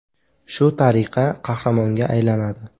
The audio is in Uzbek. Shu tariqa qahramonga aylanadi.